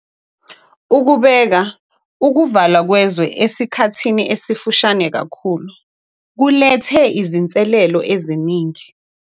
Ukubeka ukuvalwa kwezwe esikhathini esifushane kakhulu kulethe izinselelo eziningi.